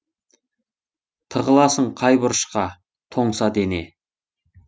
тығыласың қай бұрышқа тоңса дене